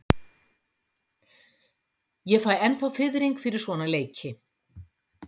Ég fæ ennþá fiðring fyrir svona leiki.